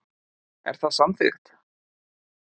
Er það samþykkt.